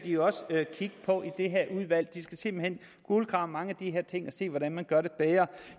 de også kigge på i det her udvalg de skal simpelt hen kulegrave mange af de her ting og se hvordan man gør det bedre